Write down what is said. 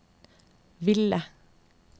ville